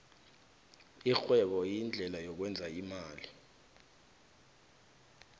irhwebo yindlela yokwenza imali